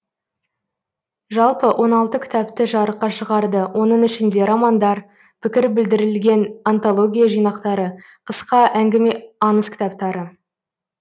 жалпы он алты кітапты жарыққа шығарды оның ішінде романдар пікір білдіріліген антология жинақтары қысқа әңгіме аңыз кітаптары